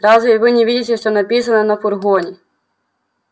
разве вы не видите что написано на фургоне